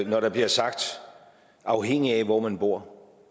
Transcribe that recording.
når der bliver sagt afhængigt af hvor man bor